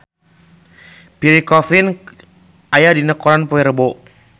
Pierre Coffin aya dina koran poe Rebo